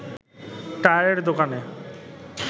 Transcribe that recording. টায়ারের দোকানে